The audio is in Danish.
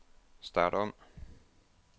start om